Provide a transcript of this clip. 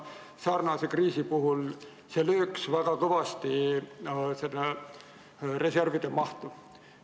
Sarnane kriis lööks väga kõvasti meie reservide mahtu.